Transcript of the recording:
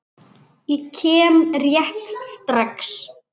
Ég kem rétt strax.